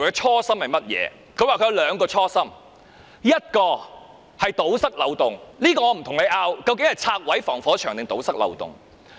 她說，她有兩個初心，一個是堵塞法律漏洞，這個我不跟你爭辯那究竟是拆毀防火牆還是堵塞漏洞。